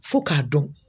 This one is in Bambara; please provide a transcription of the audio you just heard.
Fo k'a dɔn